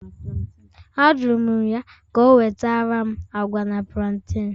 Ajụrụ m ya ka o wetara m agwa na plantain